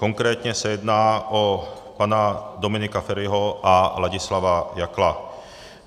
Konkrétně se jedná o pana Dominika Feriho a Ladislava Jakla.